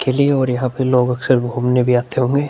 खिली और यहाँ पे लोग अक्सर घूमने भी आते होंगे।